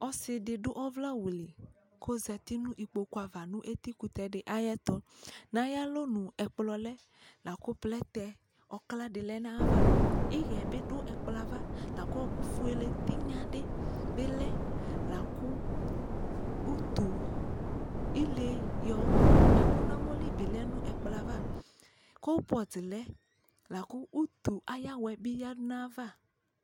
Ɔsi dι dʋ ɔvlɛ awu lι kʋ ozati nʋ ikpoku ava nʋ eti kutɛ dι ayʋ ɛtʋ Nʋ ayʋ alonʋ, ɛkplɔ lɛ la kʋ plɛtɛ ɔkla dι lɛ nʋ ayʋ ava Iɣɛɛ bi xʋ ɛkplɔ yɛ ava la kʋ ɔɔkʋ fuele tinya dι bi lɛ la kʋ utu ile yɔkʋ ɛkʋ nʋ amɔ lι bιlɛ nʋ ɛkplɔ ayʋ ava Kulpɔt lɛ lakʋ utu ayʋ awɛ bι yadʋ nʋ ayʋ ava